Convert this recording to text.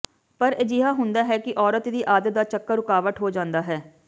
ਪਰ ਅਜਿਹਾ ਹੁੰਦਾ ਹੈ ਕਿ ਔਰਤ ਦੀ ਆਦਤ ਦਾ ਚੱਕਰ ਰੁਕਾਵਟ ਹੋ ਜਾਂਦਾ ਹੈ